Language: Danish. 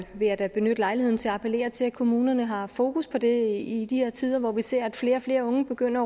vil jeg da benytte lejligheden til at appellere til at kommunerne har fokus på det i de her tider hvor vi ser at flere og flere unge begynder